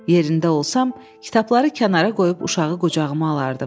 Yerində olsam, kitabları kənara qoyub uşağı qucağıma alardım.